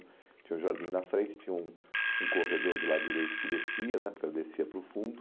Tinha um jardim da frente, tinha um um corredor do lado direito que descia né porque ele descia para o fundo.